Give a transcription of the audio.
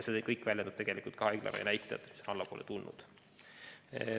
See kõik väljendub tegelikult ka haiglaravi näitajates, mis on allapoole tulnud.